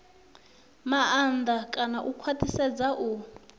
maanḓa kana u khwaṱhisedza u